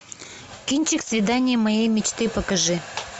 кинчик свидание моей мечты покажи